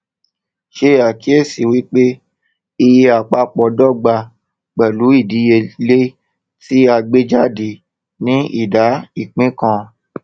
ṣe àkíyèsí wípé iye àpapọ dọgba pẹlú ìdíyelé tí a gbé jáde ní ìdá ìpín kan